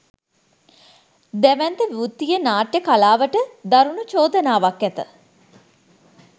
දැවැන්ත වෘත්තීය නාට්‍ය කලාවට දරුණු චෝදනාවක් ඇත